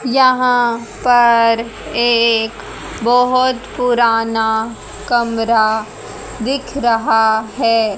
यहां पर एक बोहोत पुराना कमरा दिख रहा है।